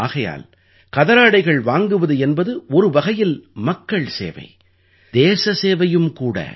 ஆகையால் கதராடைகள் வாங்குவது என்பது ஒரு வகையில் மக்கள் சேவை தேச சேவையும் கூட